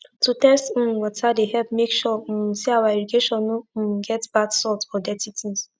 to test um water dey help make sure um say our irrigation no um get bad salt or dirty things